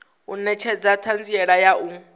u netshedza thanziela ya u